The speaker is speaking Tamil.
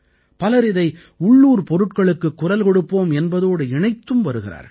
பலர் இதை உள்ளூர் பொருட்களுக்குக் குரல் கொடுப்போம் என்பதோடு இணைத்தும் வருகிறார்கள்